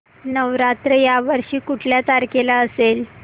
नवरात्र या वर्षी कुठल्या तारखेला असेल